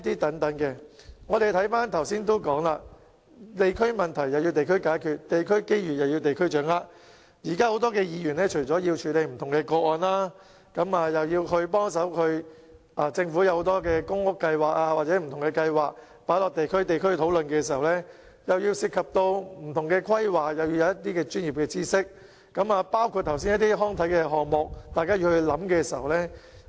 正如我剛才所說，"地區問題地區解決，地區機遇地區掌握"，現時很多議員除了要處理不同的個案外，政府提出很多公屋計劃或不同計劃亦須交由地區討論，而不同的規劃涉及很多專業知識，包括剛才提到的康體項目，大家又要進行研究。